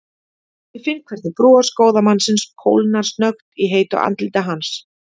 Ég finn hvernig bros góða mannsins kólnar snöggt í heitu andliti hans.